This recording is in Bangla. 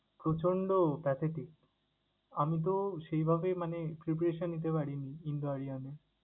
প্রচন্ড pathetic, আমি তো সেইভাবে মানে preparation নিতে পারিনি examiner এ।